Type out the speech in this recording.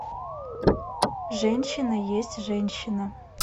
женщина есть женщина